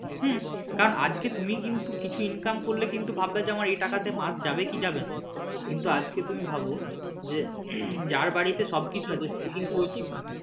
হম কারণ আজকে তুমি কিন্তু কিছু income করলে কিন্তু ভাববে আমার এই তাকাতে মাস যাবে কি যাবেনা কিন্তু আজকে তুমি ভাবো যে যার বাড়িতে সব কিছু আছে ওর কিন্তু ওই চিন্তা নেই।